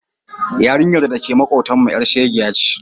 Yarinyar da ke maƙotanmu ƴar shegiya ce.